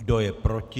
Kdo je proti?